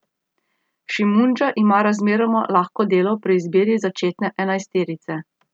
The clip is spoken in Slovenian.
Šimundža ima razmeroma lahko delo pri izbiri začetne enajsterice.